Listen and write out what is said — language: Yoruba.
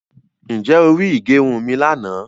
Ǹjẹ́ o ri ìgẹrun mi lànà